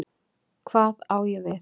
Hvað á ég við?